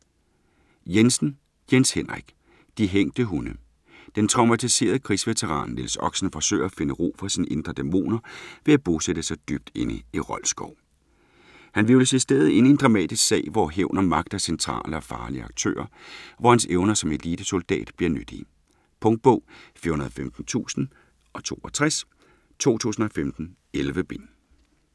Jensen, Jens Henrik: De hængte hunde Den traumatiserede krigsveteran Niels Oxen forsøger at finde ro for sine indre dæmoner ved at bosætte sig dybt inde i Rold Skov. Han hvirvles i stedet ind i en dramatisk sag hvor hævn og magt er centrale og farlige aktører, og hvor hans evner som elitesoldat bliver nyttige. Punktbog 415062 2015. 11 bind.